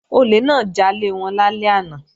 Olè náà já lẹ́wọ̀n lálẹ́ àná